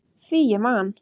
Því ég man!